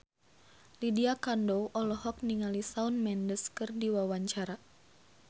Lydia Kandou olohok ningali Shawn Mendes keur diwawancara